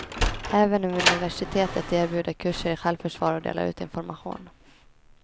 Även universitetet erbjuder kurser i självförsvar och delar ut information.